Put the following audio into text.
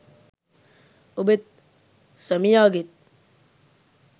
ඔබෙත් සැමියාගෙත්